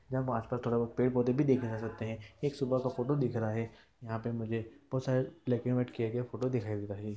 यहाँ आसपास थोड़ा बहुत पेड़-पौधे देखे जा सकते हैं| एक सुबह का फोटो दिख रहा है| यहाँ पे मुझे बहुत सारे ब्लैक एंड व्हाइट किए गए फोटो दिखाई दे रहे हैं।